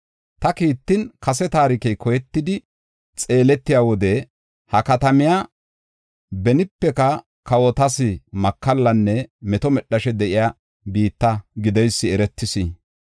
Ta kiitan, kase taarikey koyetidi xeeletiya wode, ha katamiya benipeka kawotas makallanne meto medhashe de7iya biitta gideysi eretis.